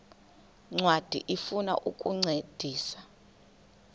ncwadi ifuna ukukuncedisa